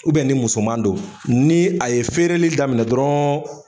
ni musoman don ni a ye feereli daminɛ dɔrɔn.